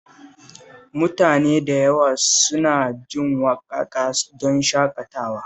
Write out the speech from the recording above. Mutane da yawa suna jin waƙaƙa don shaƙatawa